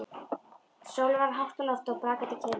Sólin var hátt á lofti og brakandi kyrrðin.